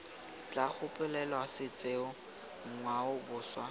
tla gopolelwa setso ngwao boswa